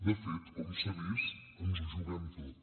de fet com s’ha vist ens ho juguem tot